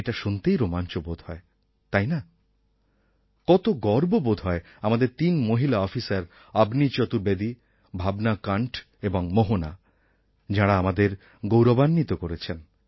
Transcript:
এটা শুনতেই রোমাঞ্চ বোধ হয় তাই না কত গর্ব বোধ হয় আমাদের তিন মহিলা অফিসার অবনী চতুর্বেদী ভাবনা কণ্ঠ এবং মোহনা যাঁরা আমাদের গৌরবান্বিত করেছেন